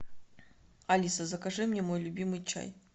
алиса закажи мне мой любимый чай